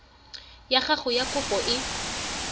ya gago ya kopo e